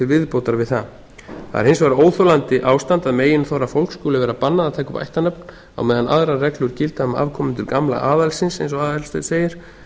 viðbótar við það það er hins vegar óþolandi ástand að meginþorra fólks skuli vera bannað að taka upp ættarnafn á meðan aðrar reglur gilda um afkomendur gamla aðalsins eins og aðalsteinn segir